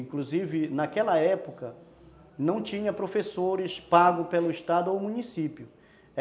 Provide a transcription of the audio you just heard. Inclusive, naquela época, não tinha professores pago pelo estado ou município.